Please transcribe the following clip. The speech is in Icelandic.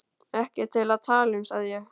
Ekki til að tala um, sagði ég.